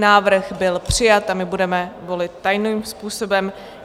Návrh byl přijat a my budeme volit tajným způsobem.